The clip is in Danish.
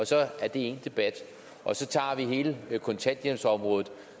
så er det én debat og så tager vi hele kontanthjælpsområdet